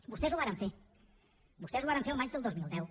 vostès ho varen fer vostès ho varen fer el maig del dos mil deu